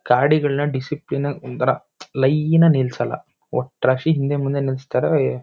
ಗಾಡಿಗಳನ್ನ discipline ನಾಗ್ ಒಂಥರಾ line ನಾಗ್ ನಿಲ್ಸಲ್ಲ ಒಟ್ರಾಸಿ ಹಿಂದೆ ಮುಂದೆ ನಿಲ್ಸ್ತಾರೆ.ವ್ಹಏಏಏ--